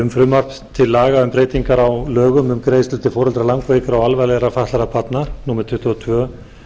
um frumvarp til laga um breytingar á laga um greiðslur til foreldra langveikra eða alvarlega fatlaðra barna númer tuttugu og tvö